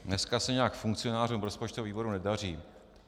Dneska se nějak funkcionářům rozpočtového výboru nedaří.